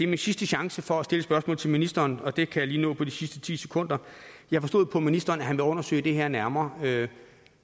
min sidste chance for at stille et spørgsmål til ministeren og det kan jeg lige nå på de sidste ti sekunder jeg forstod på ministeren at han vil undersøge det her nærmere